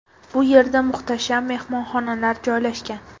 Bu yerda muhtasham mehmonxonalar joylashgan.